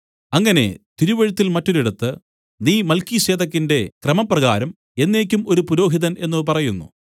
അങ്ങനെ തിരുവെഴുത്തില്‍ മറ്റൊരിടത്ത് നീ മൽക്കീസേദെക്കിന്റെ ക്രമപ്രകാരം എന്നേക്കും ഒരു പുരോഹിതൻ എന്നു പറയുന്നു